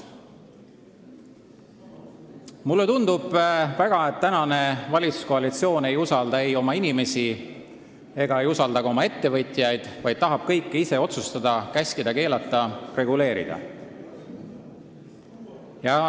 Mulle tundub, et tänane valitsuskoalitsioon ei usalda ei inimesi ega ka ettevõtjaid, vaid tahab kõike ise otsustada, käskida-keelata ja reguleerida.